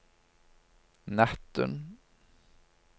natten